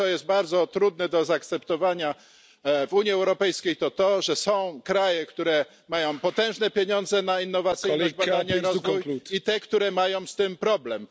To, co jest bardzo trudne do zaakceptowania w Unii Europejskiej, to to, że są kraje, które mają potężne pieniądze na innowacyjność, badania i rozwój, i te, które mają z tym problem.